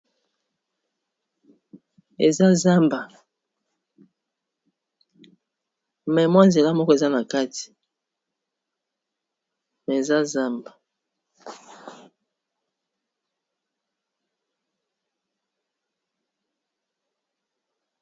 Eza zamba me mwa nzela moko eza na kati eza zamba